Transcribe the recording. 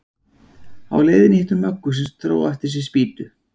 Á leiðinni hitti hún Möggu sem dró á eftir sér spýtu.